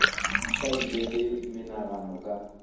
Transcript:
sa ile le menagano ka